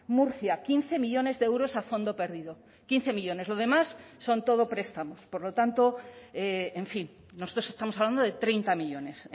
murcia quince millónes de euros a fondo perdido quince millónes lo demás son todo prestamos por lo tanto en fin nosotros estamos hablando de treinta millónes